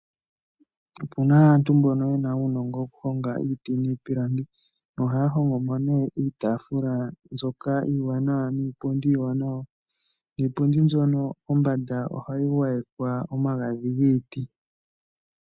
Opu na aantu mbono ye na uunongo wokuhonga iiti niipilangi nohaya hongo mo nee iitaafula mbyoka iiwanawa niipundhi mbyoka iiwanawa. Niipundi mbyoka kombanda ohayi gwayekwa omagadhi giiti.